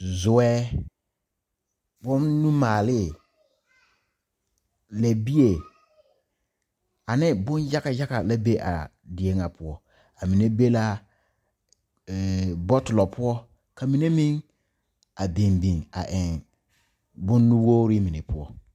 Zueɛ, boŋ numaale, leɛbie, ane boŋ yaga yaga la be a die na poʊ. A mene be la eɛ bɔtulo poʊ. Ka mene meŋ a biŋ biŋ a eŋ boŋ nuwogre mene poʊ